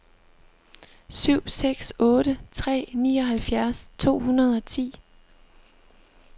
syv seks otte tre nioghalvfjerds to hundrede og ti